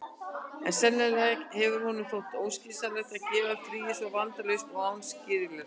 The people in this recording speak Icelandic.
En sennilega hefur honum þótt óskynsamlegt að gefa fríið svona vafningalaust og án skilyrða.